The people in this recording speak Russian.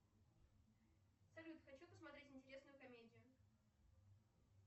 салют хочу посмотреть интересную комедию